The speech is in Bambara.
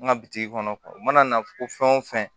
N ka bitigi kɔnɔ u mana na fɔ fɛn o fɛn